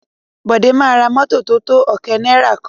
Bọ̀dé máa ra mọ́tọ̀ tótó ọ̀kẹ́ náìrà kan.